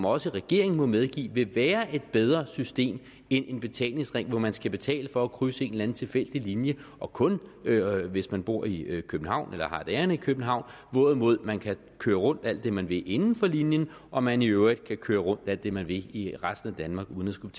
også regeringen må medgive vil være et bedre system end en betalingsring hvor man skal betale for at krydse en eller anden tilfældig linje og kun hvis man bor i københavn eller har et ærinde i københavn hvorimod man kan køre rundt alt det man vil inden for linjen og man i øvrigt kan køre rundt alt det man vil i resten af danmark uden at skulle